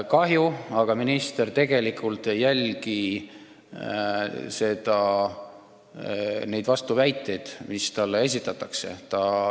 Kahju, aga minister tegelikult ei jälgi vastuväiteid, mis talle esitatakse.